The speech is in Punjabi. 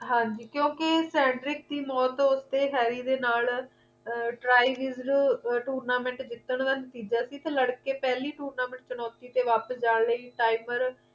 ਹਾਂਜੀ ਕਿਉਂਕਿ sandrick ਦੀ ਮੌਤ ਤੋਂ ਉੱਤੇ harry ਦੇ ਨਾਲ ਅਰ tryhis tournament ਜਿੱਤਣ ਦਾ ਨਤੀਜਾ ਸੀ ਤੇ ਲੜਕੇ ਪਹਿਲੀ tournament ਚੁਣੌਤੀ ਤੇ ਵਾਪਿਸ ਜਾਣ ਲਈ timer